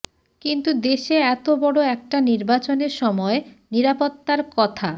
কিন্তু দেশে এত বড় একটা নির্বাচনের সময় নিরাপত্তার কথা